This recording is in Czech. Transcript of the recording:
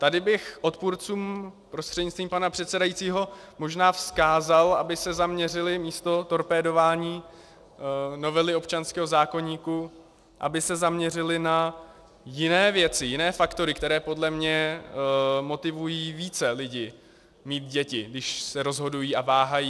Tady bych odpůrcům prostřednictvím pana předsedajícího možná vzkázal, aby se zaměřili místo torpédování novely občanského zákoníku, aby se zaměřili na jiné věci, jiné faktory, které podle mě motivují více lidi mít děti, když se rozhodují a váhají.